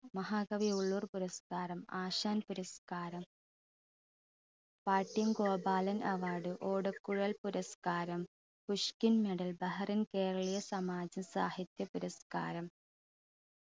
മഹാകവി ഉള്ളൂർ പുരസ്‌കാരം ആശാൻ പുരസ്‌കാരം പാട്ടിയം ഗോപാലൻ award ഓടക്കുഴൽ പുരസ്‌കാരം പുഷ്കിൻ medal ബഹറിൻ കേരളീയ സമാജ്യ സാഹിത്യ പുരസ്‌കാരം